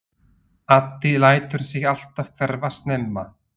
Addi lætur sig alltaf hverfa snemma.